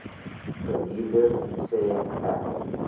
verhuurder sê ek